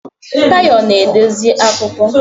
Tayo na-edezi akụkọ